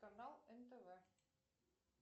канал нтв